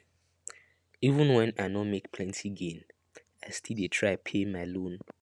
even when i no make plenty gain i still dey try pay my loan